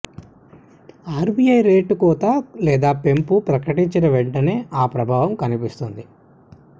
RBI rate కోత లేదా పెంపు ప్రకటించిన వెంటనే ఆ ప్రభావం కనిపిస్తుంది